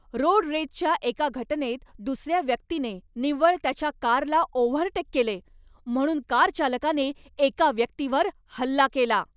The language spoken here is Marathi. रोड रेजच्या एका घटनेत दुसऱ्या व्यक्तीने निव्वळ त्याच्या कारला ओव्हरटेक केले म्हणून कार चालकाने एका व्यक्तीवर हल्ला केला.